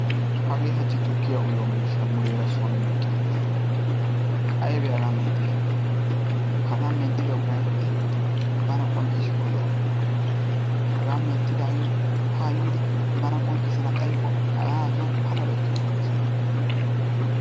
Hagee hachchi tukkiyaa uyiyoo miishshay muleera son meqqiigiis. Aybee hagaa menttiday? Hagaa menttida uray ha"i bana qonccisiko lo"o. Hagaa menttidaagee hagaa yiidi bana qonccisana xaayiko hagaan ha son paalabay kiyana des ha'i.